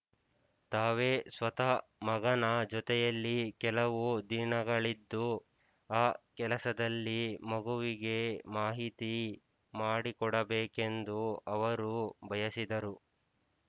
ತಾವೇ ಸ್ವತಃ ಮಗನ ಜೊತೆಯಲ್ಲಿ ಕೆಲವು ದಿನಗಳಿದ್ದು ಆ ಕೆಲಸದಲ್ಲಿ ಮಗುವಿಗೆ ಮಾಹಿತಿ ಮಾಡಿಕೊಡಬೇಕೆಂದು ಅವರು ಬಯಸಿದರು